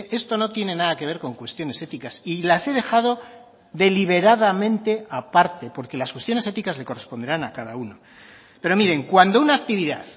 esto no tiene nada que ver con cuestiones éticas y las he dejado deliberadamente aparte porque las cuestiones éticas le corresponderán a cada uno pero miren cuando una actividad